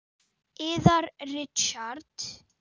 Yðar Richard